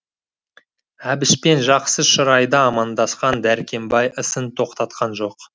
әбішпен жақсы шырайда амандасқан дәркембай ісін тоқтатқан жоқ